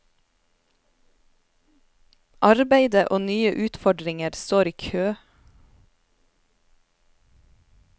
Arbeide og nye utfordringer står i kø.